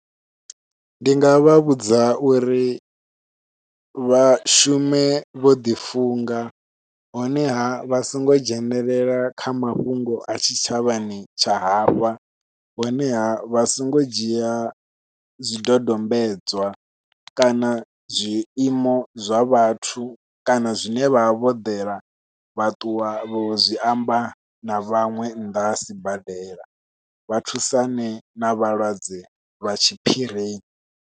Ndi nga vha vhudza uri vha shume vho ḓi funga honeha vha songo dzhenelela kha mafhungo a tshitshavhani tsha hafha, honeha vha songo dzhia zwidodombedzwa kana zwi imo zwa vhathu kana zwine vha vha vho ḓela vha ṱuwa vha yo zwi amba na vhaṅwe nnḓa ha sibadela vha thusane na vhalwadze lwa tshiphirini.